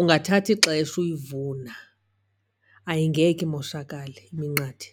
ungathatha ixesha uyivuna, ayingeke imoshakale iminqathe.